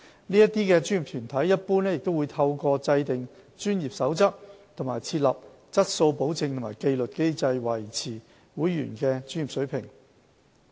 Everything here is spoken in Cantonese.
該些專業團體一般會透過制訂專業守則及設立質素保證和紀律機制，維持會員的專業水平。